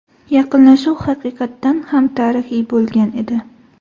Yaqinlashuv haqiqatan ham tarixiy bo‘lgan edi.